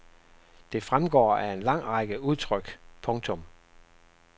Det fremgår af en lang række udtryk. punktum